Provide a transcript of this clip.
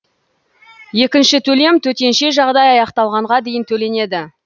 екінші төлем төтенше жағдай аяқталғанға дейін төленеді